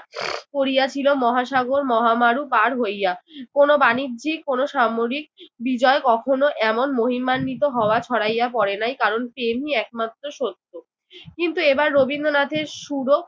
পড়িয়াছিল মহাসাগর মহা মারু পার হইয়া কোন বাণিজ্যিক, কোন সামরিক বিজয় কখনো এমন মহিমান্বিত হওয়া ছড়াইয়া পড়ে নাই। কারণ তিনি একমাত্র সত্য। কিন্তু এইবার রবীন্দ্রনাথের সুরও